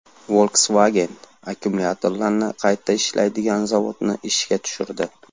Volkswagen akkumulyatorlarni qayta ishlaydigan zavodni ishga tushirdi.